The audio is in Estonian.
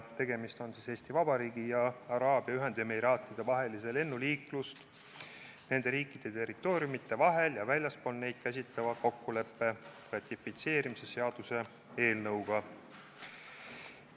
Tegemist on Eesti Vabariigi ja Araabia Ühendemiraatide vahelise lennuliiklust nende riikide territooriumide vahel ja väljaspool neid käsitleva kokkuleppe ratifitseerimise seaduse eelnõuga.